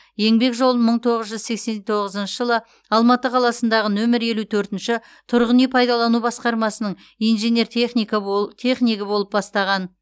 еңбек жолын мың тоғыз жүз сексен тоғызыншы жылы алматы қаласындағы нөмірі елу төртінші тұрғын үй пайдалану басқармасының инженер техника бо технигі болып бастаған